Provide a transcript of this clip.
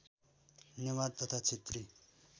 नेवार तथा क्षेत्री